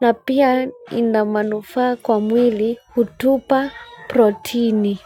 na pia ina manufaa kwa mwili hutupa proteini.